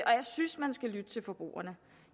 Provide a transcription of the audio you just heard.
jeg synes man skal lytte til forbrugerne